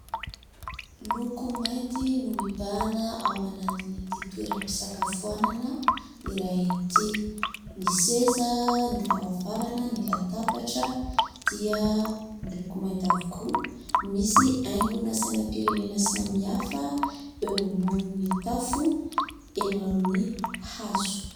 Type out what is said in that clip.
Loko mainty no mibahana ao anatin'ity toeram-pisakafoanana iray ity ny seza , ny varavarana, ny latabatra dia ny loko mainty avokoa. Misy haingona sainam-pirenena samy hafa eo ambonin'ny tafo eo amin'ny hazo.